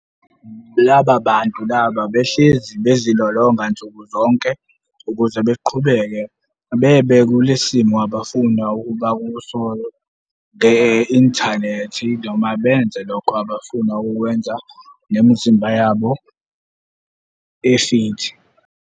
Laba bantu laba behlezi bezilolonga nsuku zonke ukuze beqhubeke bebe kule simo abafuna ukuba kuso nge-inthanethi noma benze lokho abafuna ukukwenza ngemzimba yabo efithi.